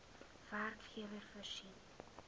werkgewer voorsien